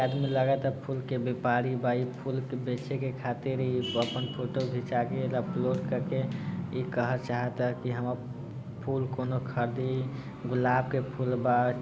आदमी लगाता फूल के व्यापारी बा इ फूल के बेचे के खातिर इ अपन फोटो खींचा के अपलोड करके इ कहा चाहाता की हम फूल कोनो खरीदी गुलाब के फूल बा।